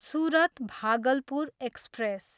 Surat, Bhagalpur express